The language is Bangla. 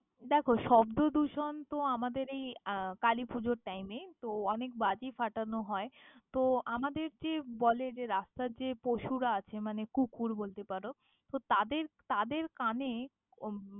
দ্যাখো, শব্দদূষণ তো আমাদের এই আহ কালিপুজোর time এ। তো অনেক বাজি ফাটানো হয়, তো আমাদের যে বলে যে রাস্তার যে পশুরা আছে মানে কুকুর বলতে পারো, তো তাদের তাদের কানে ।